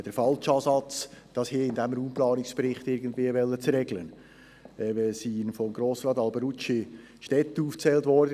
Autobahnanschlüsse mitten im Zentrum sollte man aus unserer Sicht ganz klar in diesem Jahrhundert nicht mehr machen.